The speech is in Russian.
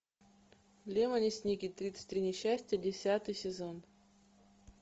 лемони сникет тридцать три несчастья десятый сезон